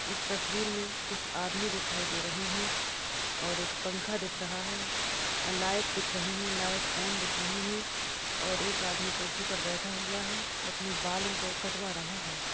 इस तस्वीर में कुछ आदमी दिखाई दे रहे है और एक पंखा दिख रहा है लाइट दिख रही है लाइट ऑन दिख रही है और एक आदमी कुर्सी पर बैठा हुआ है और अपने बालों को कटवा रहा है।